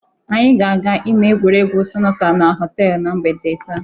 Anyị ga-aga ime egwuregwu sunuka na họtelụ na mgbede taa.